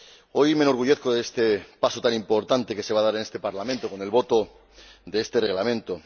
Hoy me enorgullezco de este paso tan importante que se va a dar en este Parlamento con el voto de este Reglamento.